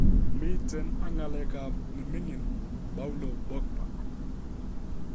Miten ak ng'alekab ne ming'in Paulo Pogba